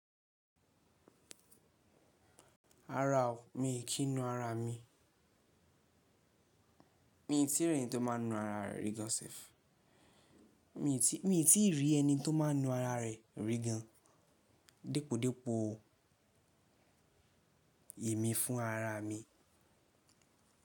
Rara o, mi kì í nu ara mi. Mi ò tí rí ẹni tó máa ń na ara rẹ̀ rí gan sef. Mi ò tí, mi ò tí rí ẹni tó máa ń na ara rẹ̀ rí gan. Dépòdépò o, èmi fúnra ra mi.